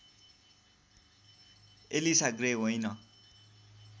Elisa Grey होइन